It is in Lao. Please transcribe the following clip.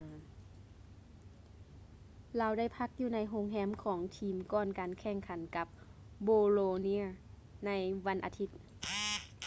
ລາວໄດ້ພັກຢູ່ໃນໂຮງແຮມຂອງທີມກ່ອນການແຂ່ງຂັນກັບ bolonia ໃນວັນອາທິດ